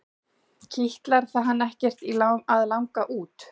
Kitlar það hann ekkert í að langa út?